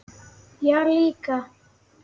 Já, líka.